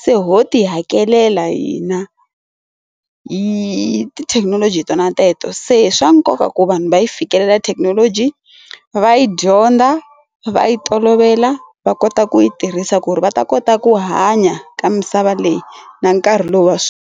se ho ti hakelela hina hi tithekinoloji to na teto se swa nkoka ku vanhu va yi fikelela thekinoloji va yi dyondza va yi tolovela va kota ku yi tirhisa ku ri va ta kota ku hanya ka misava leyi na nkarhi lowu wa.